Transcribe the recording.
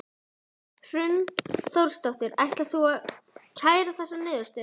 Hrund Þórsdóttir: Ætlar þú að kæra þessa niðurstöðu?